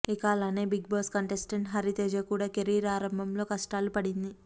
ఇక అలానే Bigg Boss contestant Hari Teja కూడా కెరీర్ ఆరంభంలో కష్టాలు పడింది